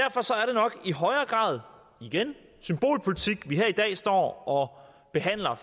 nok i højere grad igen symbolpolitik vi her i dag står og behandler